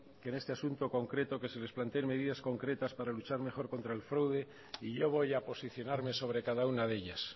que en este asunto concreto que se les planteen medidas concretas para luchar mejor contra el fraude y yo voy a posicionarme sobre cada una de ellas